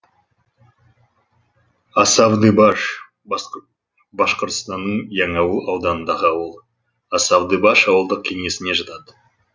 асавдыбаш башқұртстанның яңауыл ауданындағы ауыл асавдыбаш ауылдық кеңесіне жатады